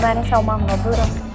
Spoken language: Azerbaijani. Elvan Salmanova, buyurun.